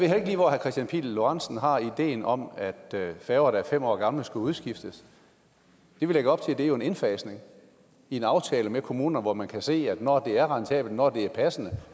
herre kristian pihl lorentzen har ideen om at færger der er fem år gamle skulle udskiftes det vi lægger op til er jo en indfasning i en aftale med kommunerne hvor man kan se at når det er rentabelt når det er passende